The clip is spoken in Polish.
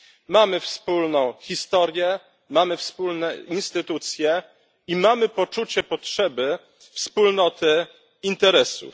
Mamy wspólną historię, mamy wspólne instytucje i mamy poczucie potrzeby wspólnoty interesów.